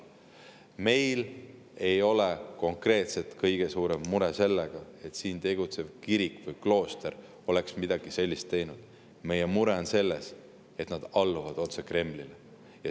Meil ei ole konkreetselt kõige suurem mure selles, et siin tegutsev kirik ja klooster oleksid midagi sellist teinud, meie mure on selles, et nad alluvad otse Kremlile.